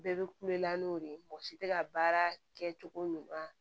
Bɛɛ bɛ kulon na n'o de ye mɔgɔ si tɛ ka baara kɛ cogo ɲuman